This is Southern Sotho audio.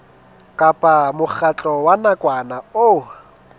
kapa mokgatlo wa nakwana o